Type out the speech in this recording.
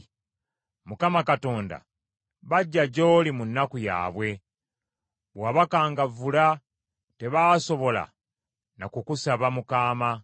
Mukama Katonda, bajja gy’oli mu nnaku yaabwe, bwe wabakangavvula, tebaasobola na kukusaba mu kaama.